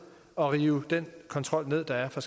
og rive den kontrol ned der er fra